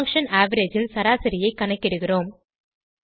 function average ல் சராசரியை கணக்கிடுகிறோம்